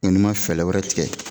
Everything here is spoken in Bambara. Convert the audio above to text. Ne ma fɛɛlɛ wɛrɛ tigɛ